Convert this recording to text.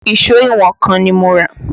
Ìṣó ìwọ̀n kan ni mo rà